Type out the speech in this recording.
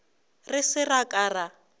re se ra ka ra